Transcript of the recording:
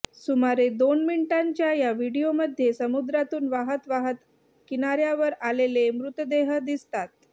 सुमारे दोन मिनिटांच्या या व्हिडियोमध्ये समुद्रातून वाहत वाहत किनाऱ्यावर आलेले मृतदेह दिसतात